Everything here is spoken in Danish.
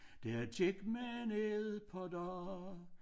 Der gik men et par dage